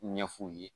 Ɲɛ f'u ye